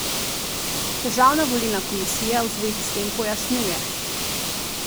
Državna volilna komisija v zvezi s tem pojasnjuje.